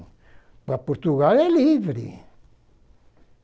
Para Portugal é livre.